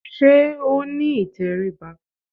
Sé ó ní ìtẹríba?